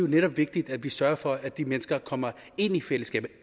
netop vigtigt at vi sørger for at de mennesker kommer ind i fællesskabet